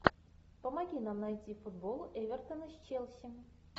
помоги нам найти футбол эвертона с челси